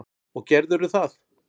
Og gerðirðu það?